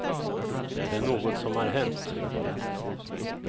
Det är något som har hänt.